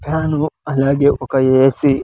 Fan అలాగే ఒక A C .